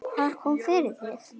Hvað kom fyrir þig?